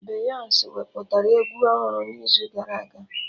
Beyonsi wepụtara egwu ọhụrụ n'izu gara aga